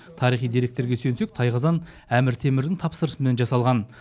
тарихи деректерге сүйенсек тайқазан әмір темірдің тапсырысымен жасалған